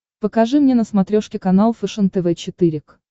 покажи мне на смотрешке канал фэшен тв четыре к